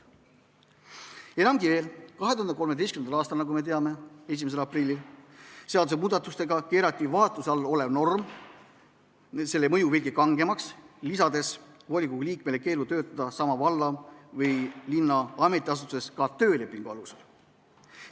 " Enamgi veel, 2013. aasta, nagu me teame, 1. aprilli seadusemuudatustega keerati vaatluse all oleva normi mõju veelgi kangemaks, lisades volikogu liikmele keeld töötada sama valla või linna ametiasutuses ka töölepingu alusel.